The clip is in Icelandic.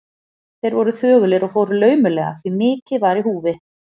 Þeir voru þögulir og fóru laumulega, því mikið var í húfi.